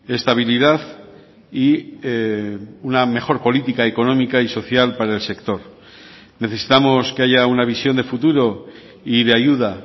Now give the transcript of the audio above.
estabilidad y una mejor política económica y social para el sector necesitamos que haya una visión de futuro y de ayuda